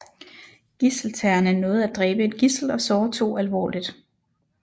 Gidseltagerne nåede at dræbe et gidsel og såre to alvorligt